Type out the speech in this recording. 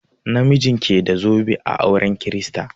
Na mijin ke bada zobe a auren kirista.